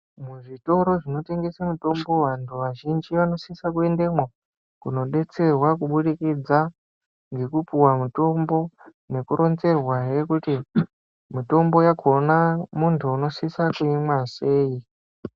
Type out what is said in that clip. Muzvitoro zvinotengesa mitombo vantu vazhinji vanosisa kuendemwo, kunodetserwa kubudikidza, ngekupuwa mutombo, nekuronzerwahe kuti, mitombo yakhona muntu unosisa kuimwa sei.